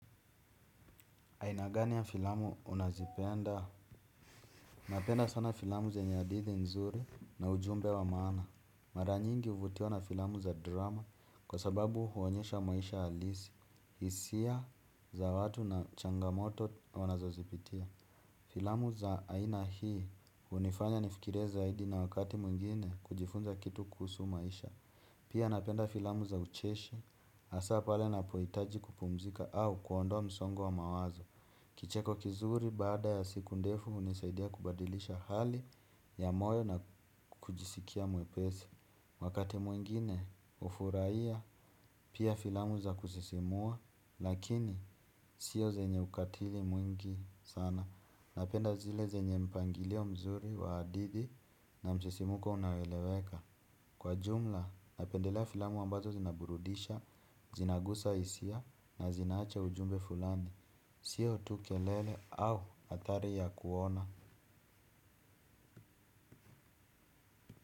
Aina gani ya filamu unazipenda. Napenda sana filamu zenye hadithi nzuri na ujumbe wa maana. Mara nyingi huvutiwa na filamu za drama kwa sababu huonyesha maisha halisi. Hisia za watu na changamoto wanazozipitia. Filamu za aina hii hunifanya nifikirie zaidi na wakati mwingine kujifunza kitu kuhusu maisha. Pia napenda filamu za ucheshi hasaa pale napohitaji kupumzika au kuondoa msongo wa mawazo. Kicheko kizuri baada ya siku ndefu hunisaidia kubadilisha hali ya moyo na kujisikia mwepesi. Wakati mwingine hufurahia pia filamu za kusisimua lakini sio zenye ukatili mwingi sana. Napenda zile zenye mpangilio mzuri wa hadidhi na msisimko unaoeleweka. Kwa jumla napendelea filamu ambazo zinaburudisha, zinagusa hisia na zinaacha ujumbe fulani. Sio tu kelele au athari ya kuona.